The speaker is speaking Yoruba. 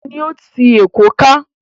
Omi ni ó ti Èkó ká.